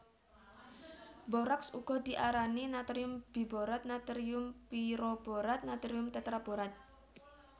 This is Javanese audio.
Boraks uga diarani natrium biborat natrium piroborat natrium tetraborat